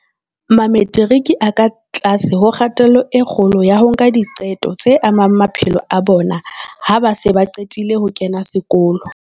Mametiriki a ka tlase ho kgatello e kgolo ya ho nka diqeto tse amang maphelo a bona ha ba se ba qetile ho kena sekolo.